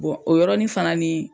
o yɔrɔnin fana ni.